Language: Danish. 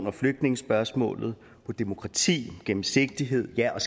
og flygtningespørgsmålet på demokrati og gennemsigtighed ja og